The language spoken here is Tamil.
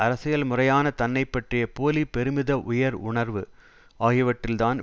அரசியல் முறையான தன்னை பற்றிய போலி பெருமித உயர் உணர்வு ஆகியவற்றில்தான்